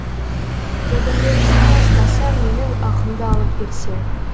зәбірлеушіні ұстаса менің ақымды алып берсе